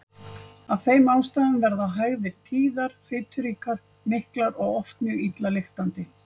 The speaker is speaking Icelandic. Af þeim ástæðum verða hægðir tíðar, fituríkar, miklar og oft mjög illa lyktandi.